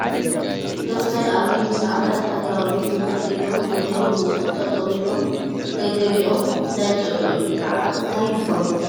ዶክቶር ኣብይ ምስ ኣባላት ሃገራዊ ቤት ምኽሪ እዮም ዘለዉ ዝመስሉ ዝመስሉ ፡ ጠጠው ኢሎምገለገሊኦም እንዳንጨብጨቡ እዮም ፡ ብዘዕባ እታይ ይኾን ?